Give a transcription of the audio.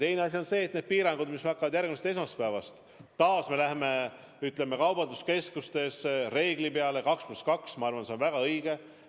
Teine asi on see, et need piirangud, mis hakkavad järgmisest esmaspäevast – taas me läheme kaubanduskeskustes 2 + 2 reegli peale –, on väga õiged.